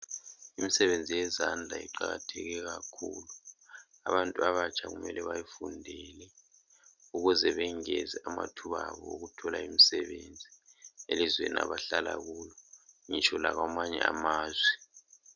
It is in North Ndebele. Imsebenzi yezandla iqakatheke kakhulu. Abantu abatsha kumele bayifundele ukuze bengeze amathuba abo okuthola imisebenzi elizweni abahlala kulo, ngitsho lakwamanye amazwe.